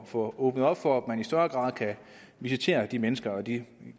får åbnet op for at man i større grad kan visitere de mennesker det